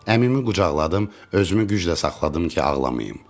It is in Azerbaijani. Əmimin qucaqladım, özümü güclə saxladım ki, ağlamayım.